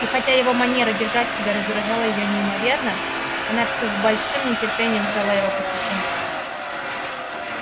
и хотя его манера себя держать раздражала её неимоверно она всё с большим нетерпением ждала его посещений